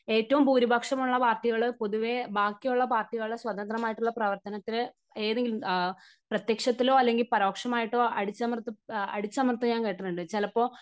ഏറ്റവും ഭൂരിപക്ഷം ഉള്ള പാർട്ടികൾ പൊതുവേ ബാക്കിയുള്ള പാർട്ടികളുടെ സ്വതന്ത്രം ആയിട്ടുള്ള പ്രവർത്തനത്തില് കേറി പ്രത്യക്ഷത്തിലോ അല്ലെങ്കിൽ പരോക്ഷമായിട്ടോ അടിച്ചമർത്തി, അടിച്ചമർത്തിയതായി ഞാൻ കേട്ടിട്ടുണ്ട്. ചിലപ്പോ